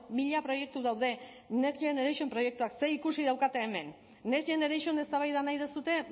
mila proiektu daude next generation proiektuak zerikusi daukate hemen next generation eztabaida nahi duzue